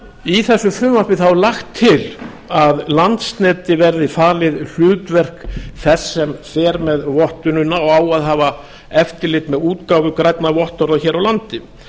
í þessu frumvarpi er lagt til að landsneti verði falið hlutverk þess sem fer með vottunina og á að hafa eftirlit með útgáfu grænna vottorða hér á landi